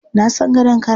Na san gadon kara.